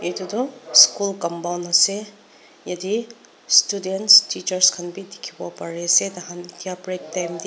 Etu toh school compound ase yate students teachers khan bi dekhibo pari ase taikhan etia break time tey--